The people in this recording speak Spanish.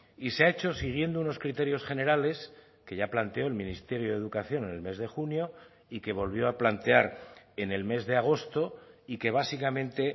y se ha hecho siguiendo unos criterios generales que ya planteó el ministerio de educación en el mes de junio y que volvió a plantear en el mes de agosto y que básicamente